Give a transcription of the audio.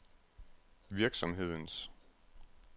virksomhedens